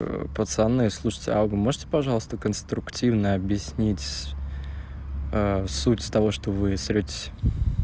пацаны слушайте а вы можете пожалуйста конструктивно объяснить с суть с того что вы ссоритесь